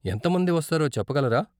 ఎంత మంది వస్తారో చెప్పగలరా?